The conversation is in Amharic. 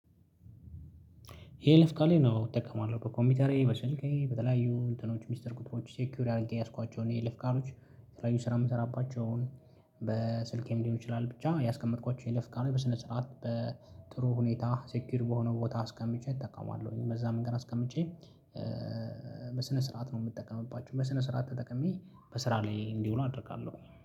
የይለፍ ቃሌን አዎ እጠቀማለሁ በኮምፒውተሬ በስልኬ በተለያዩ እንትኖች ሚስጥር ቁጥሮች ሴኪዩር አድርጌ የያዝኳቸው የይለፍ ቃሎች የተለያዩ ስራ የምሰራባቸውን። በስልኬም ሊሆን ይችላል ብቻ ያስቀመጥኳቸውን የይለፍ ቃሎች በስነ ስርዓት በጥሩ ሁኔታ ሴኪዩር በሆነ ቦታ አስቀምጬ እጠቃለሁኝ በዛ መንገድ አስቀምጬ ስርዓት ነው። የምትጠቀመው በስነ ስርዓት ተጠቅሜ በስራ ላይ እንዲውሉ አደርጋለሁ